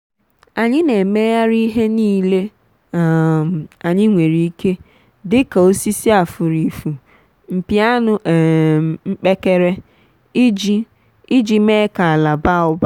anyị na-emegharị ihe niile um anyị nwere ike dika osisi afurifu mpi anụ um mkpekere iji iji mee ka ala baa ụba.